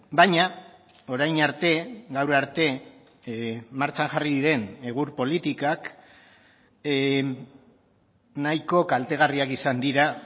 baina orain arte gaur arte martxan jarri diren egur politikak nahiko kaltegarriak izan dira